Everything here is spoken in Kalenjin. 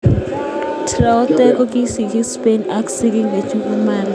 Traore kikisikchi Spain ak sigik chekibunu Mali.